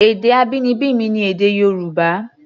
Èdè abínibí mi ni èdè Yorùbá.